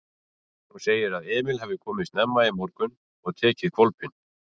Hún segir að Emil hafi komið snemma í morgun og tekið hvolpinn.